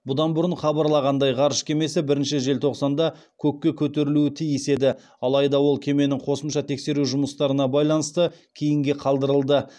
бұдан бұрын хабарланғандай ғарыш кемесі бірінші желтоқсанда көкке көтерілуі тиіс еді адайда ол кеменің қосымша тексеру жұмыстарына байланысты кейінге қалдырылды